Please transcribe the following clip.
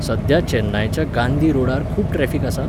सध्या चेन्नायच्या गांधी रोडार खूब ट्रॅफिक आसा?